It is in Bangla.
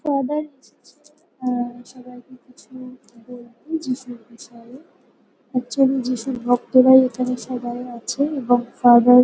ফাদার এসেছে উমম সবাইকে কিছু বলতে যীশুর বিষয়ে। একচুয়ালি যিশুর ভক্তরাই এখানে সবাই আছে এবং ফাদার --